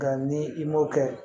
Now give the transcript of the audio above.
Nka ni i m'o kɛ